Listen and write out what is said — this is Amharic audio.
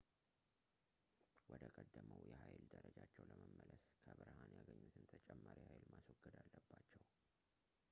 ወደ ቀደመው የኃይል ደረጃቸው ለመመለስ ከብርሃን ያገኙትን ተጨማሪ ኃይል ማስወገድ አለባቸው